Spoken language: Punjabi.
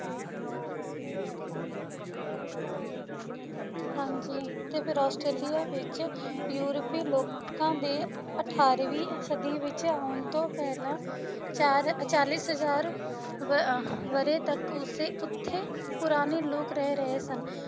ਹਾਂਜੀ ਫੇਰ ਆਸਟ੍ਰੇਲੀਆ ਵਿੱਚ ਯੂਰਪੀ ਲੋਕਾਂ ਦੇ ਅਠਾਰਵੀਂ ਸਦੀ ਵਿੱਚ ਆਉਣ ਤੋਂ ਪਹਿਲਾ ਚਾਰ ਚਾਲੀਸ ਹਜ਼ਾਰ ਵੀ ਅਹ ਵਰ੍ਹੇ ਤੱਕ ਉਸੇ ਉਥੇ ਪੁਰਾਣੇ ਲੋਕ ਰਹਿ ਰਹੇ ਸਨ।